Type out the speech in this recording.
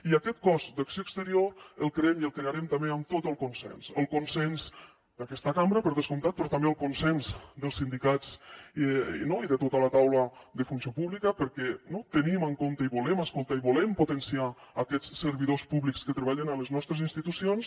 i aquest cos d’acció exterior el creem i el crearem també amb tot el consens el consens d’aquesta cambra per descomptat però també el consens dels sindicats no i de tota la taula de funció pública perquè tenim en compte i volem escoltar i volem potenciar aquests servidors públics que treballen a les nostres institucions